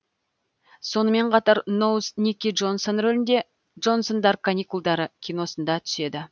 сонымен қатар ноуз никки джонсон рөлінде джонсондар каникулдары киносында түседі